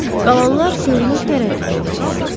Qalanlar görünür tərəddüd edirdilər.